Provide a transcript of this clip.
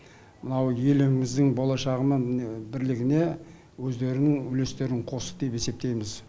мынау еліміздің болашағы мен міне бірлігіне өздерінің үлестерін қосты деп есептейміз